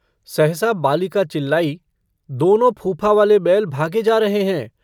सहसा बालिका चिल्लाई - दोनों फूफा वाले बैल भागे जा रहे हैं।